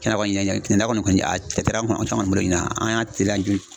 Tiɲɛna Kɔni, an caman de bolo ɲinana, ani y'a teliya